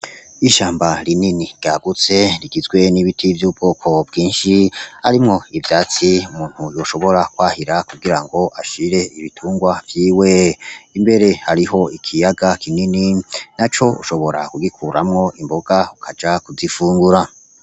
Ishamba rinini ryagutse rigizwe n'ibiti vy'ubwoko bwinshi, harimwo ivyatsi umuntu yoshobora kwahira kugira ngo ashire ibitungwa vyiwe. Imbere hariho ikiyaga kinini, naco ushobora kugikuramwo imboga ukaja kuzifungura.